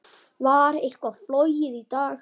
Var eitthvað flogið í dag?